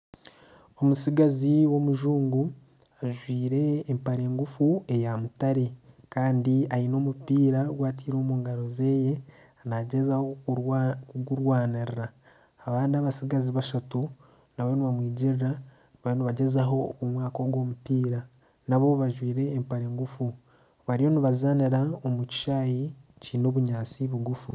Omutsigazi w'omujungu ajwaire empare ngufu eya mutare kandi aine omupiira ogu ataire omu ngaro ze naagyezaho kugurwanirira abandi abatsigazi bashatu nabo nibamwigirira nabo bariyo nibagyezaho kumwaka ogu omupiira nabo bajwaire empare ngufu bariyo nibazaanira omu kishaayi kiine obunyaatsi bugufu